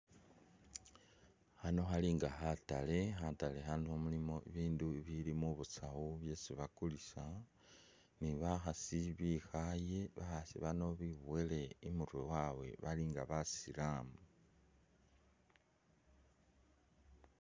Khano khalinga khatale, khatale khano mulimo bibindu bili mubusawu byesi bakulisa ni bakhasi bikhaye bakhasi bano bibuwele imurwe wawe balinga basilamu.